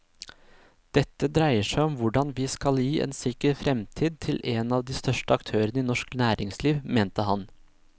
Dette dreier seg om hvordan vi skal gi en sikker fremtid til en av de største aktørene i norsk næringsliv, mente han.